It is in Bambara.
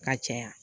Ka caya